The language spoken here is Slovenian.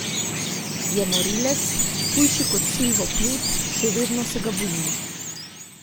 Je morilec, hujši kot Silvo Plut, še vedno se ga bojim.